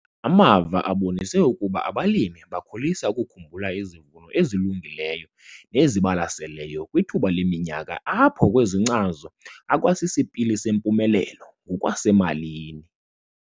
Amava abonise ukuba abalimi bakholisa ukukhumbula izivuno ezilungileyo nezibalaseleyo kwithuba leminyaka apho ngokwenkcazo akwasisipili sempumelelo ngokwasemalini.